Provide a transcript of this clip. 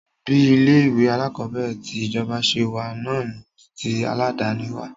Bí ilé ìwé alákọ̀berẹ̀ ti ìjọba ṣe wà náà ni tí aládàni wà.